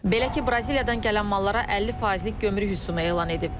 Belə ki, Braziliyadan gələn mallara 50 faizlik gömrük rüsumu elan edib.